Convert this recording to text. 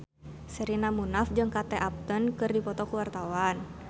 Sherina Munaf jeung Kate Upton keur dipoto ku wartawan